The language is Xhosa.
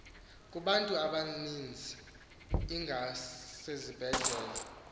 kubantu abamizi ingasezindleleni